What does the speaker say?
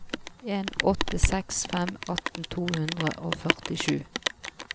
en åtte seks fem atten to hundre og førtisju